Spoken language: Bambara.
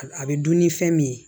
A bɛ dun ni fɛn min ye